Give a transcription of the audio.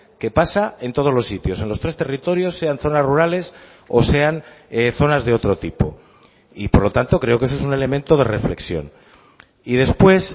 qué pasa en todos los sitios en los tres territorios sean zonas rurales o sean zonas de otro tipo y por lo tanto creo que eso es un elemento de reflexión y después